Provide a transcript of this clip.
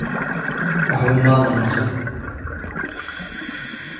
Waxba maadan maqlin?